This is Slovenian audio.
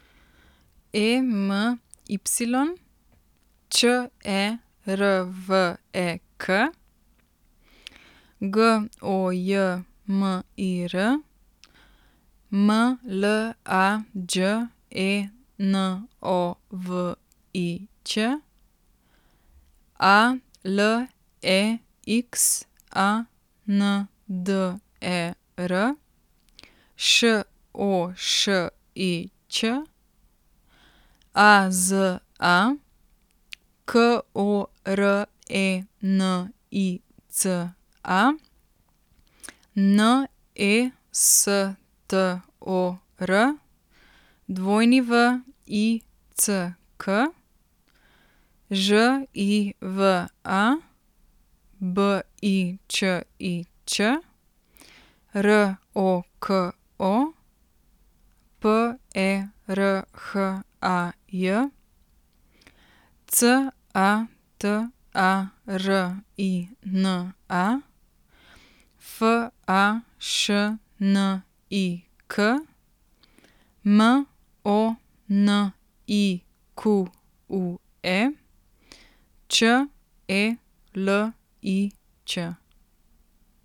E M Y, Č E R V E K; G O J M I R, M L A Đ E N O V I Ć; A L E X A N D E R, Š O Š I Ć; A Z A, K O R E N I C A; N E S T O R, W I C K; Ž I V A, B I Č I Č; R O K O, P E R H A J; C A T A R I N A, F A Š N I K; M O N I Q U E, Č E L I Ć.